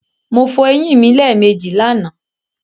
Mo fo eyín mi lẹ́èmejì lànàá